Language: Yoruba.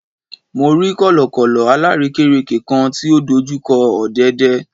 Mo rí kọ̀lọ̀kọ̀lọ̀ alárèékérekè kan tí ó dojú kọ ọ̀dẹ̀dẹ̀